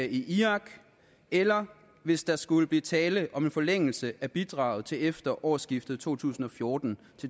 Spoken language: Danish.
i irak eller hvis der skulle blive tale om en forlængelse af bidraget til efter årsskiftet to tusind og fjorten